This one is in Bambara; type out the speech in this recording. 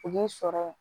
U b'u sɔrɔ